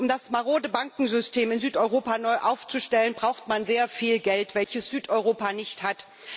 Um das marode Bankensystem in Südeuropa neu aufzustellen, braucht man sehr viel Geld, welches Südeuropa nicht hat.